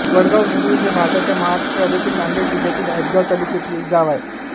वडगाव बुद्रुक हे भारताच्या महाराष्ट्र राज्यातील नांदेड जिल्ह्यातील हदगाव तालुक्यातील एक गाव आहे